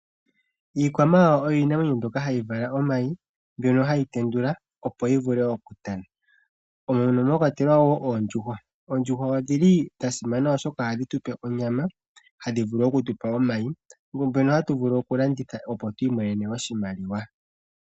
Iikwamawawa iinamwenyo mbyoka hayi vala omayi, mbyoka hayi tendula, opo yi vule okutana, mono mwa kwatelwa wo oondjuhwa. Oondjuhwa odhi li dha simana, oshoka ohadhi tu pe onyama, hadhi vulu oku tu pa omayi, mbyono hatu vulu okulanditha opo twiiimonene oshimaliwa.